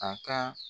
A ka